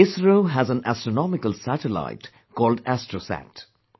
ISRO has an astronomical satellite called ASTROSAT